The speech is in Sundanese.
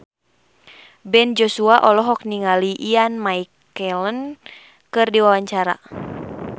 Ben Joshua olohok ningali Ian McKellen keur diwawancara